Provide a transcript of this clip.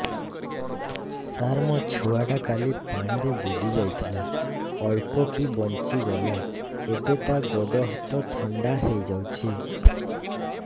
ସାର ମୋ ଛୁଆ ଟା କାଲି ପାଣି ରେ ବୁଡି ଯାଇଥିଲା ଅଳ୍ପ କି ବଞ୍ଚି ଗଲା ଏବେ ତା ଗୋଡ଼ ହାତ ଥଣ୍ଡା ହେଇଯାଉଛି